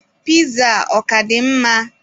Piza a ọ ka dị mma?